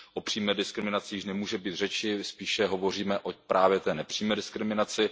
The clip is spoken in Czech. O přímé diskriminaci již nemůže být řeči, spíše hovoříme o právě té nepřímé diskriminaci.